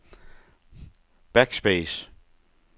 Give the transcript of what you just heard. backspace